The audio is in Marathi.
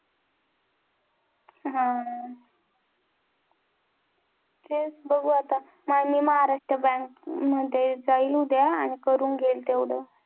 हा. तेच बघू आता आणि महाराष्ट्र बँकमध्ये जाईल उद्या आणि करून घेईल तेवढं.